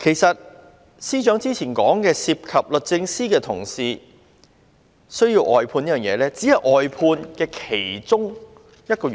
司長說，如果案件涉及律政司的同事，才需要外判，但其實這只是外判的其中一個原因。